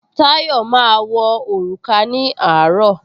Táyọ̀ máa wọ òrùka ní àárọ̀